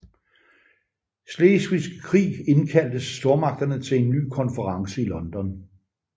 Slesvigske Krig indkaldtes stormagterne til en ny konference i London